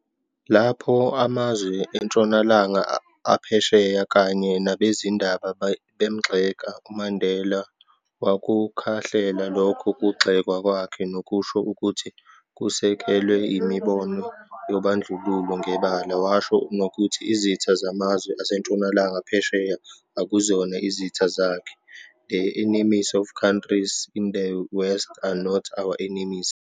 Lapho amazwe eNtshonalanga aphesheya kanye nabezindaba, bemgxeka, uMandela wakukhahlela lokho kugxekwa kwakhe, nokusho ukuthi kusekelwe yimibono yobandlululo ngebala, washo nokuthi izitha zamazwe aseNtshonalanga phesheya akuzona izitha zakhe, "the enemies of countries in the West are not our enemies.",